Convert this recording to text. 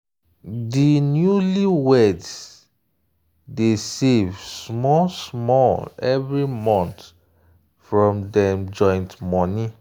di newlyweds dey save small small every month from dem joint money.